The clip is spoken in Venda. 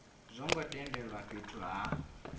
zwo ngo tendelwa fhethu ha